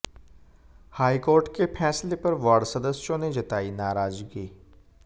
high court के फैसले पर वार्ड सदस्यों ने जताई नाराजगी